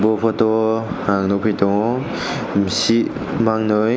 aw photo ang nugfi tongo musi mangnoi.